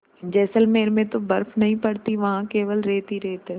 जैसलमेर में तो बर्फ़ नहीं पड़ती वहाँ केवल रेत ही रेत है